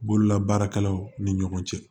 Bololabaarakɛlaw ni ɲɔgɔn cɛ